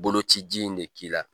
Boloci ji in ne k'i la